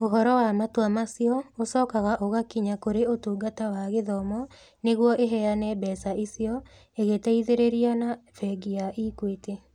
Ũhoro wa matua macio ũcokaga ũgakinya kũrĩ Ũtungata wa Gĩthomo nĩguo ĩheane mbeca icio, ĩgĩteithĩrĩria na Bengi ya Equity.